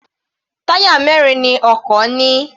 Táyà mẹrin ni ọkọ̀ ní.